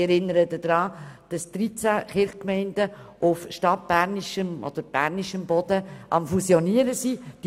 Ich erinnere daran, dass 13 Kirchgemeinden auf stadtbernischem Boden am Fusionieren sind.